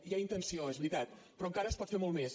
hi ha intenció és veritat però encara es pot fer molt més